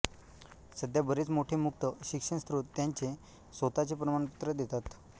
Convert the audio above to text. सध्या बरेच मोठे मुक्त शिक्षण स्त्रोत त्यांचे स्वतःचे प्रमाणपत्र देतात